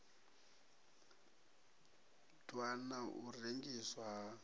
ḓwa na u rengiswa ha